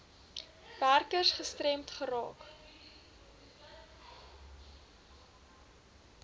werkers gestremd raak